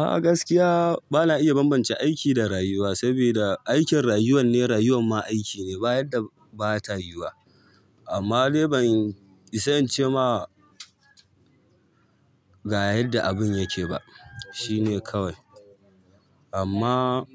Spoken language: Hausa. A gaskiya ba na iya bambance aiki da rayuwa saboda aikin rayuwar ne, rayuwar ma aiki ne ba yarda ba ta yuwa. Amma dai ban isa incema ga yanda abun yake ba shine kawai amma